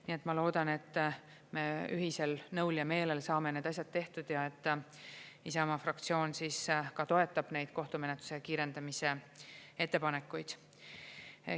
Nii et ma loodan, et me ühisel nõul ja meelel saame need asjad tehtud ja et Isamaa fraktsioon ka toetab neid kohtumenetluse kiirendamise ettepanekuid.